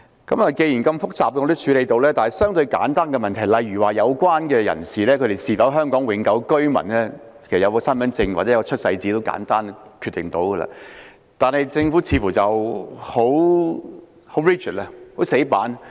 不過，既然如此複雜的問題也能處理，那麼相對地簡單的問題，例如申請人是否香港永久性居民，其實只要有身份證或出世紙便能夠決定，但政府卻似乎很死板。